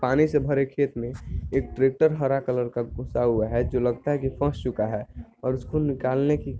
पानी से भरे खेत में एक ट्रेक्टर हरा कलर का घुसा हुआ है जो लगता है कि फस चूका है और उसको निकालने की --